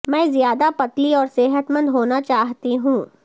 میں زیادہ پتلی اور صحت مند ہونا چاہتے ہیں